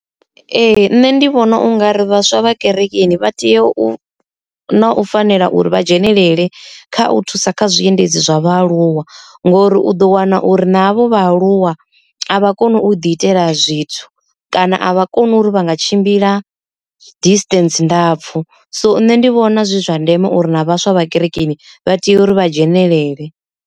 Ee, nṋe ndi vhona ungari vhaswa vha kerekeni vha tea u na u fanela uri vha dzhenelele kha u thusa kha zwiendedzi zwa vhaaluwa ngori u ḓo wana uri navho vha aluwa a vha koni u ḓi itela zwithu kana a vha koni uri vha nga tshimbila distance ndapfhu, so nṋe ndi vhona zwi zwa ndeme uri na vhaswa vha kerekeni vha tea uri vha dzhenelele.